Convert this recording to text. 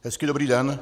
Hezký, dobrý den.